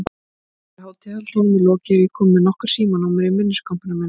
Þegar hátíðarhöldunum er lokið er ég komin með nokkur símanúmer í minniskompuna mína.